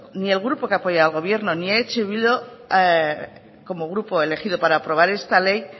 ni el grupo que apoya al gobierno ni eh bildu como grupo elegido para aprobar esta ley